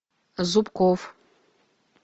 зубков